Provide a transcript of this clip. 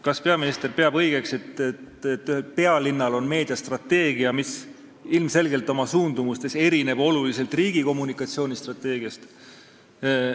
Kas peaminister peab õigeks seda, et pealinnal on meediastrateegia, mis ilmselgelt erineb oma suundumustelt riigi kommunikatsioonistrateegiast?